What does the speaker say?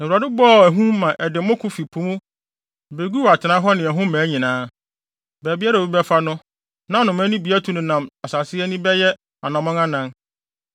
Na Awurade bɔɔ ahum maa ɛde mmoko fi po mu beguu atenae hɔ ne ɛho mmaa nyinaa. Baabiara a obi bɛfa no, na nnomaa yi bi atu nenam asase ani bɛyɛ anammɔn anan.